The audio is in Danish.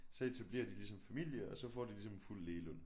Så etablerer de ligesom familie og så får de ligesom en fuld lægeløn